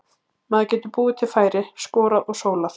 Maður getur búið til færi, skorað og sólað.